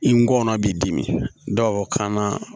I ngɔnɔ b'i dimi dɔw kan na